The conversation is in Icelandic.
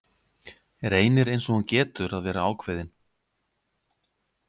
Reynir eins og hún getur að vera ákveðin.